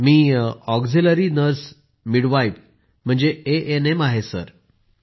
मी auxiliary nurse midwife ANM आहे sir.